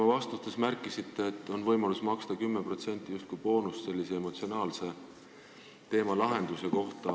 Oma vastustes te märkisite, et on võimalus maksta 10% justkui boonust sellise emotsionaalse teema korral.